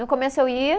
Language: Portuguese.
No começo, eu ia